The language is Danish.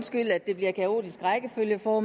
hvor